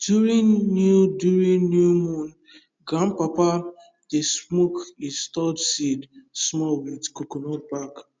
during new during new moon grandpapa dey smoke e stored seed small with coconut back